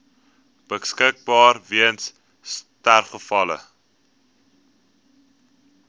beskikbaar weens sterfgevalle